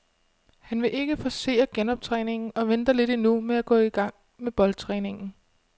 Han vil ikke forcere genoptræningen og venter lidt endnu med at gå i gang med boldtræningen.